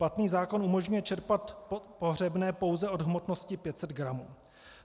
Platný zákon umožňuje čerpat pohřebné pouze od hmotnosti 500 gramů.